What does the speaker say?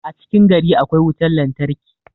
a cikin gari akwai wutar lantarki